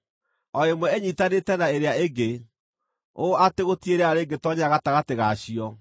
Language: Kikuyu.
o ĩmwe ĩnyiitanĩte na ĩrĩa ĩngĩ, ũũ atĩ gũtirĩ rĩera rĩngĩtoonyera gatagatĩ ga cio.